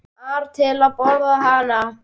ar til að borða hana.